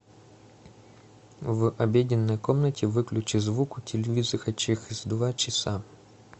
в обеденной комнате выключи звук у телевизора через два часа